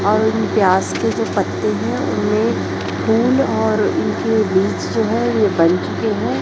और प्याज के जो पत्ते हैं उन्हें फूल और उनके बीच जो है ये बन चुके हैं।